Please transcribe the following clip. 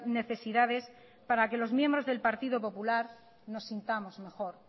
necesidades para que los miembros del partido popular nos sintamos mejor